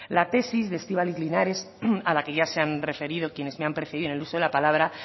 la tesis de estibaliz linares a la que ya se han referido quienes me han precedido en el uso de la palabra